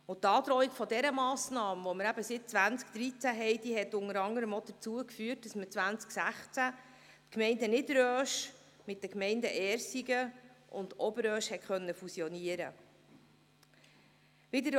Die Androhung dieser Massnahme, die wir seit 2013 haben, hat unter anderem dazu geführt, dass man 2016 die Gemeinde Niederösch mit den Gemeinden Ersigen und Oberösch fusionieren konnte.